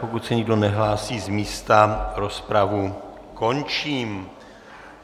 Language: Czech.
Pokud se nikdo nehlásí z místa, rozpravu končím.